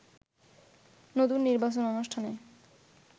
নতুন নির্বাচন অনুষ্ঠানে